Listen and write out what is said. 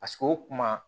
Paseke o kuma